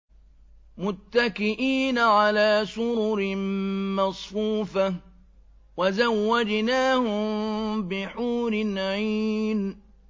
مُتَّكِئِينَ عَلَىٰ سُرُرٍ مَّصْفُوفَةٍ ۖ وَزَوَّجْنَاهُم بِحُورٍ عِينٍ